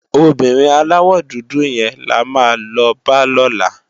Óbìrín àláwò dúdú yèn làmá lò bá lòlá